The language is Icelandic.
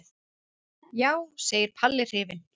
Já, segir Palli hrifinn.